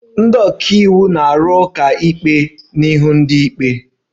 Ndị ọka iwu na-arụ ụka ikpe n'ihu ndị ikpe